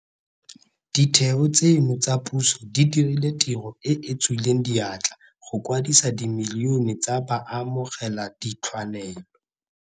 Ditheo tseno tsa puso di dirile tiro e e tswileng diatla go kwadisa dimilione tsa baamogeladithwanelo.